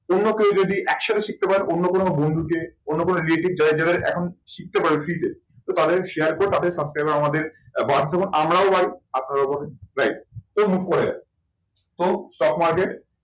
অন্য কেউ যদি একসাথে শিখতে পারে, অন্য কোনো বন্ধুকে, অন্য কোনো relative যাদের যাদের এখন শিখতে পারে free তে, তো তাদের share করো তাদের subscriber আমাদের বাদ দেবো, আমরাও পাই আপনারাও পাবেন right তো move করা যাবে। তো stock market